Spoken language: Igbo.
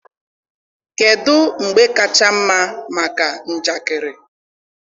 kedụ mgbe kacha mma maka njakịrị?